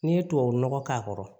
N'i ye tubabu nɔgɔ k'a kɔrɔ